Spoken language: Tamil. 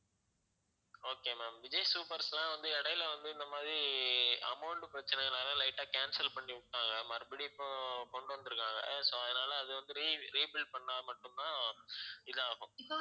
okay ma'am விஜய் சூப்பர்ஸ்லாம் வந்து இடையில வந்து இந்த மாதிரி amount பிரச்சினையினால light ஆ cancel பண்ணி விட்டாங்க மறுபடியும் இப்போ கொண்டு வந்து இருக்காங்க so அதனால அது வந்து re~ rebuild பண்ணா மட்டும் தான் இதாகும்